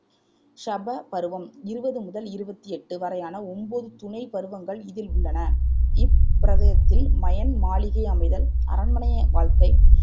சப பருவம் இருவது முதல் இருவத்தி எட்டு வரையான ஒம்போது துணைப் பருவங்கள் இதில் உள்ளன இப்பிரவியத்தில் மயன் மாளிகை அமைதல், அரண்மனைய வாழ்க்கை